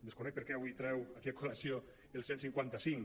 desconec per què avui treu aquí a col·lació el cent i cinquanta cinc